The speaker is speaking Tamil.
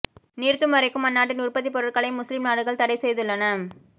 நிறுத்தும் வரைக்கும் அந்நாட்டின் உற்பத்திப் பொருட்களை முஸ்லிம் நாடுகள் தடை செய்துள்ளன